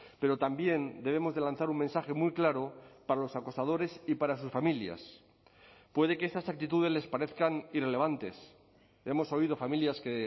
pero también debemos de lanzar un mensaje muy claro para los acosadores y para sus familias puede que estas actitudes les parezcan irrelevantes hemos oído familias que